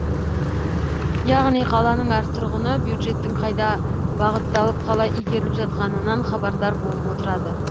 яғни қаланың әр тұрғыны бюджеттің қайда бағытталып қалай игеріліп жатқанынан хабардар болып отырады